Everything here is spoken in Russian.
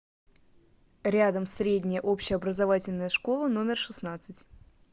рядом средняя общеобразовательная школа номер шестнадцать